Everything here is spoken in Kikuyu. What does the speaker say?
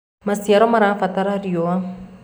maciaro marabatara riũa